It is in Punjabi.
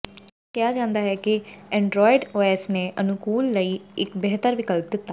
ਇਹ ਅਕਸਰ ਕਿਹਾ ਜਾਂਦਾ ਹੈ ਕਿ ਐਂਡਰਾਇਡ ਓਐਸ ਨੇ ਅਨੁਕੂਲਣ ਲਈ ਇੱਕ ਬਿਹਤਰ ਵਿਕਲਪ ਦਿੱਤਾ